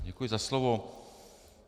Děkuji za slovo.